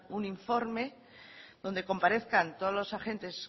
un informe donde comparezcan todos los agentes